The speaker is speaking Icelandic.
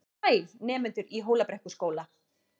Sæl, nemendur í Hólabrekkuskóla.